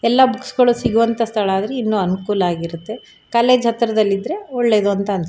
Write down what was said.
ಎಲ್ಲಾ ಬುಕ್ಸ್ ಗಳು ಸಿಗುವಂತ ಸ್ಥಳ ಆದ್ರೆ ಇನ್ನು ಅನುಕೂಲ ಆಗಿರುತ್ತೆ ಕಾಲೇಜ್ ಹತ್ರದಲ್ಲಿ ಇದ್ರೆ ಒಳ್ಳೆದು ಅಂತ ಅನ್ನಸುತ್ತೆ.